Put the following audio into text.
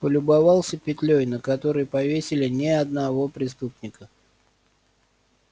полюбовался петлей на которой повесили не одного преступника